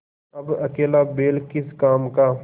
अब अकेला बैल किस काम का